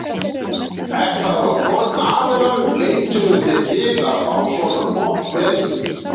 Er það á hvorn aðilann leituðu þið til að fá svona gott veður?